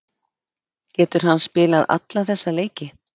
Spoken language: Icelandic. Getur hann spilað alla þessa leiki?